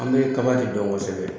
An bɛ kaba de dɔn kosɛbɛ